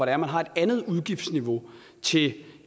er man har et andet udgiftsniveau til